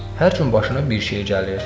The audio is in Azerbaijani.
Hər gün başına bir şey gəlir.